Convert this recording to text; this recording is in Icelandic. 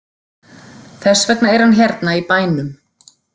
Þess vegna er hann hérna í bænum.